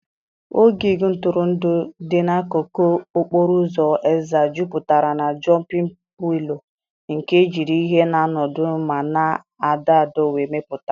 Ogig ntụrụndụ dị n'akụkụ okporo ụzọ Ezza jupụtara na Jọmpịn pilo nke ejiri ihe na-anọdụ ma na-adọ adọ wee mepụta.